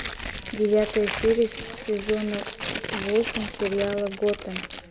девятая серия сезона восемь сериала готэм